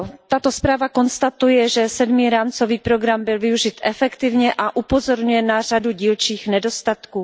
Tato zpráva konstatuje, že sedmý rámcový program byl využit efektivně a upozorňuje na řadu dílčích nedostatků.